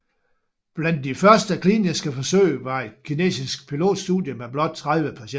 Blandt de første kliniske forsøg var et kinesisk pilotstudie med blot 30 patienter